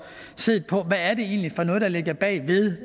set på hvad det egentlig er for noget der ligger bag ved